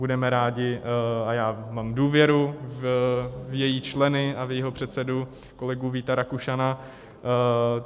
Budeme rádi, a já mám důvěru v její členy a v jejího předsedu kolegu Víta Rakušana.